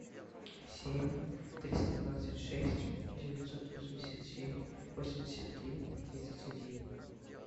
семь триста двадцать шесть девятьсот восемьдесят семь восемьдесят три тридцать один